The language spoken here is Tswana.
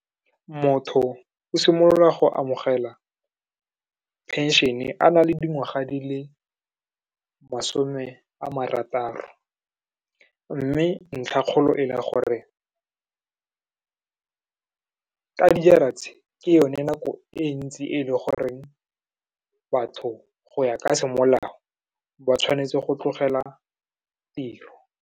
Motho o simolola go amogela pension-e a na le dingwaga di le masome a marataro, mme ntlha kgolo e le gore ka dijara tse, ke yone nako e ntsi e le goreng batho go ya ka semolao, ba tshwanetse go tlogela tiro.